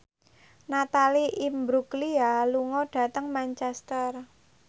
Natalie Imbruglia lunga dhateng Manchester